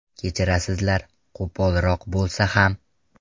Kechirasizlar, qo‘polroq bo‘lsa ham.